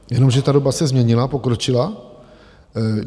Jenomže ta doba se změnila, pokročila.